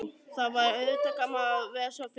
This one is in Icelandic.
Það væri auðvitað gaman að vera svona fim.